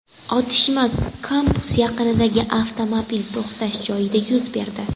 Otishma kampus yaqinidagi avtomobil to‘xtash joyida yuz berdi.